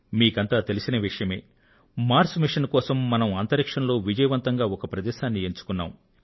మీకంతా తెలిసిన విషయమే మార్స్ మిషన్ కోసం మనం అంతరిక్షంలో విజయవంతంగా ఒక ప్రదేశాన్ని ఎన్నుకున్నాం